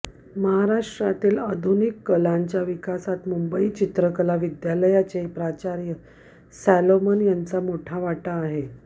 महाराष्ट्रातील आधुनिक कलांच्या विकासातमुंबई चित्रकला विद्यालयाचे प्राचार्य सॉलोमन यांचा मोठा वाटा आहे